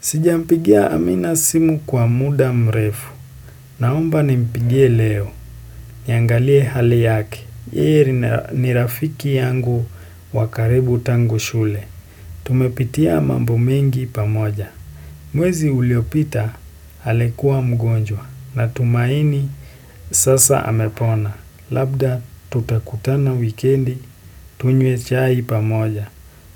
Sijampigia amina simu kwa muda mrefu. Naomba nimpigie leo, niangalie hali yake. Yeee ni rafiki yangu wakaribu tangu shule. Tumepitia mambo mengi pamoja. Mwezi uliopita alikuwa mgonjwa na tumaini sasa amepona. Labda tutakutana wikendi, tunywe chai pamoja,